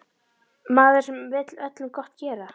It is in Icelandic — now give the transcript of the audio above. Maður sem vill öllum gott gera.